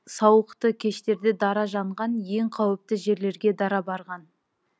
сауықты кештерде дара жанған ең қауіпті жерлерге дара барған